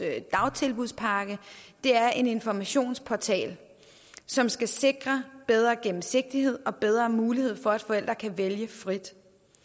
dagtilbudspakke er en informationsportal som skal sikre bedre gennemsigtighed og bedre mulighed for at forældre kan vælge frit